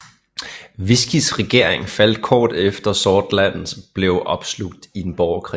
Wiscis regering faldt kort efter og Sordland blev opslugt i en borgerkrig